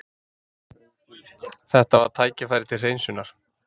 Þetta var tækifæri til hreinsunar.